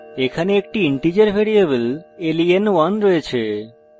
আমাদের কাছে একটি integer ভ্যারিয়েবল len1 রয়েছে